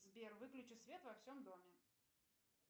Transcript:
сбер выключи свет во всем доме